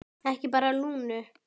Ekki bara Lúnu.